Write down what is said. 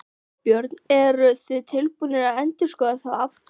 Þorbjörn: Eruð þið tilbúnir að endurskoða þá afstöðu?